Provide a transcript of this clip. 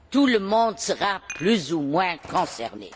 Tout le monde sera plus ou moins concerné.